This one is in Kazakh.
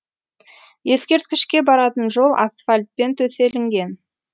ескерткішке баратын жол асфальтпен төселінген